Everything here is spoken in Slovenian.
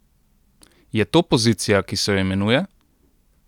Je to pozicija, ki se jo imenuje?